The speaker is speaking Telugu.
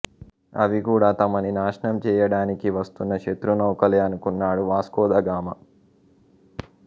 అవి కూడా తమని నాశనం చెయ్యడానికి వస్తున్న శత్రు నౌకలే అనుకున్నాడు వాస్కో ద గామా